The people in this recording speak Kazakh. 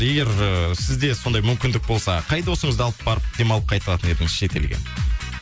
егер ыыы сізде сондай мүмкіндік болса қай досыңызды алып барып демалып қайтатын едіңіз шет елге